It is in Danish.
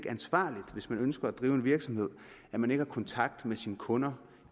ansvarligt hvis man ønsker at drive en virksomhed at man ikke har kontakt med sine kunder